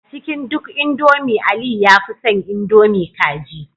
A cikin duk indomie Aliyu ya fi son indomie kaji